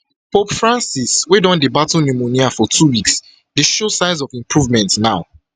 pope francis wey don dey battle pneumonia for two weeks dey show signs of improvement now